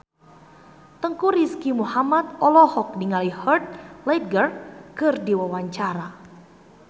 Teuku Rizky Muhammad olohok ningali Heath Ledger keur diwawancara